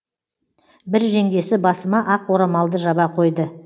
бір жеңгесі басыма ақ орамалды жаба қойды